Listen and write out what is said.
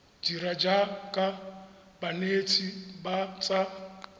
dira jaaka banetshi ba tsa